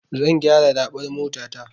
Zan gyara raɓar motata.